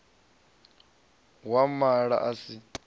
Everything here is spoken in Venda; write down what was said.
ya u mala a si